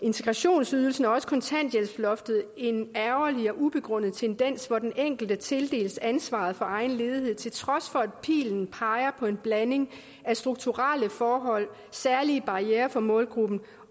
integrationsydelsen og kontanthjælpsloftet en ærgerlig og ubegrundet tendens hvor den enkelte tildeles ansvaret for egen ledighed til trods for at pilen peger på en blanding af strukturelle forhold særlige barrierer for målgruppen